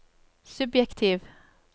subjektiv